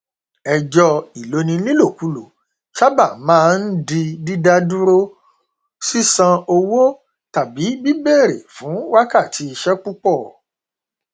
ẹjọ ìloni nílòkulò sábà maá n di dídádúró sísan owó tàbí bíbèrè fún wákàtí iṣẹ púpọ